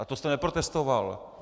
A to jste neprotestoval!